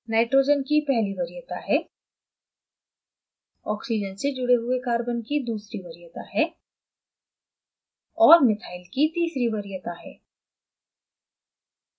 nitrogen की पहली वरीयता है oxygen से जुड़े हुए carbon की दूसरी वरीयता है